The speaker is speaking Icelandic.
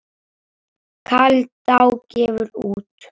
Kaldá gefur út.